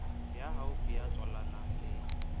ya haufi ya tswalanang le